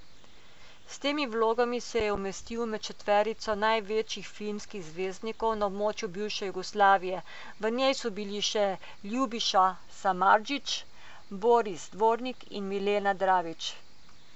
S temi vlogami se je umestil med četverico največjih filmskih zvezdnikov na območju bivše Jugoslavije, v njej so bili še Ljubiša Samardžić, Boris Dvornik in Milena Dravić.